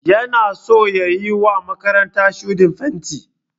Yana so ya yiwa makarantar shuɗin fenti.